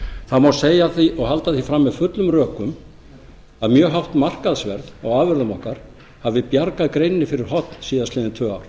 það má segja og halda því fram með fullum rökum að mjög hátt markaðsverð á afurðum okkar hafi bjargað greininni fyrir horn síðastliðin tvö ár